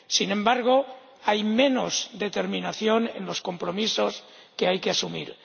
Sin embargo, hay menos determinación en los compromisos que hay que asumir.